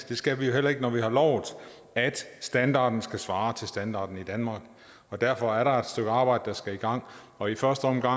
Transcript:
det skal vi jo heller ikke når vi har lovet at standarden skal svare til standarden i danmark og derfor er der et stykke arbejde der skal i gang og i første omgang